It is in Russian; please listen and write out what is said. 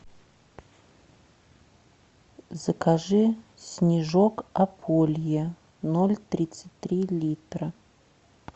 закажи снежок ополье ноль тридцать три литра